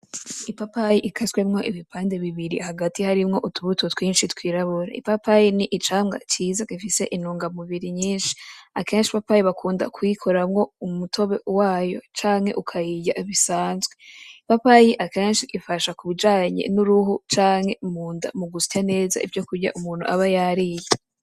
Ipapayi ikaswemwo ibipande bibiri, hagati harimwo utubuto twinshi twirabura. Ipapayi ni icamwa ciza gifise intungamubiri nyinshi. Akenshi ipapayi bakunda kuyikoramwo umutobe wayo, canke ukayirya bisanzwe. Ipapayi akenshi ifasha kubijanye n'uruho canke mu nda mu gusya neza ivyo kurya umuntu aba yariye.